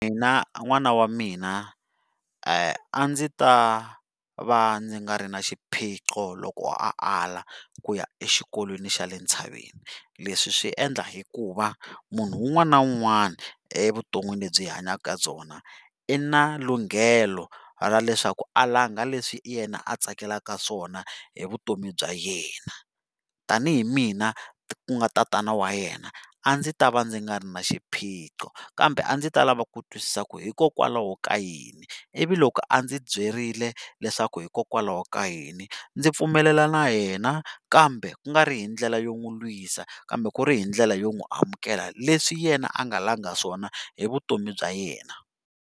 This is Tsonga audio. Na n'wana wa mina a ndzi ta va ndzi nga ri na xiphiqo loko a ala kuya exikolweni xa le tshaveni leswi swi endla hikuva munhu un'wanaa na un'wana evuton'wini lebyi hi hanyaka byona i na lunghelo ra leswaku a langa leswi yena a tsakelaka swona hi vutomi bya yena tanihi mina ku nga tatana wa yena a ndzi ta va ni nga ri na xiphiqo kambe a ndzi ta lava ku twisisa ku hikokwalaho ka yini ivi loko a ndzi byirile leswaku hikokwalaho ka yihi ndzi pfumelela na yena kambe kungari hi ndlela yo n'wi lwisa kambe ku ri hi ndlela yo n'wi amukela leswi yena a nga langa swona hi vutomi bya yena.